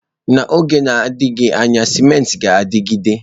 N'oge na-adịghị anya, cimenti ga-adịgide.